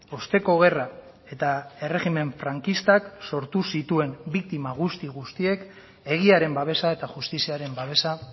osteko gerra eta erregimen frankistak sortu zituen biktima guzti guztiek egiaren babesa eta justiziaren babesa